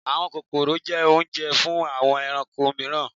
Àwọn kókórò jẹ́ oúnjẹ fún àwọn ẹranko mìíràn